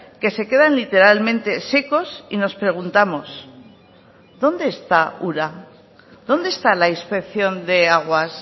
que se quedan literalmente secos y nos preguntamos dónde está ura dónde está la inspección de aguas